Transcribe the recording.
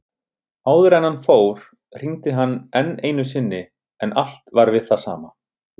Áður en hann fór hringdi hann enn einu sinni en allt var við það sama.